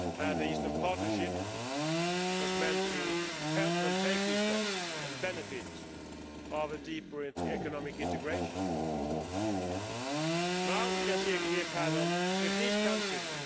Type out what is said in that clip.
The Eastern Partnership was meant to help them take these steps and benefit from deeper economic integration. Now we can see a clear pattern in these countries.